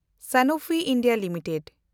Sanofi India limited